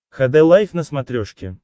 хд лайф на смотрешке